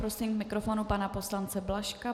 Prosím k mikrofonu panu poslance Blažka.